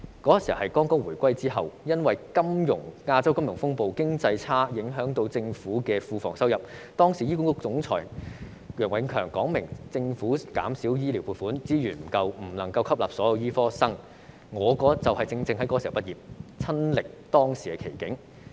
當時是回歸初期，因為亞洲金融風暴，經濟差影響政府庫房收入，時任醫管局總裁楊永強表明，政府減少醫療撥款，資源不足，不能夠吸納所有醫科畢業生，我正值這個時候畢業，親歷當時的奇景。